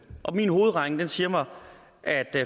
og min hovedregning siger mig at